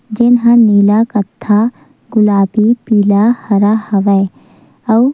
जेन ह नीला कत्था गुलाबी पीला हरा हवय अउ --